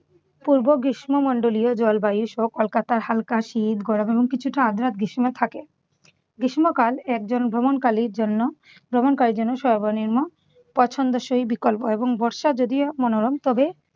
পূর্ব গ্রীষ্মমন্ডলীয় জলবায়ুসহ কলকাতায় হালকা শীত গরম এবং কিছুটা আর্দ্রা গ্রীষ্ম থাকে। গ্রীষ্মকাল একজন ভ্রমণকালীর জন্য ভ্রমণকারীর জন্য সর্বনিম্ন পছন্দসই বিকল্প এবং বর্ষা যদিও মনোরম তবে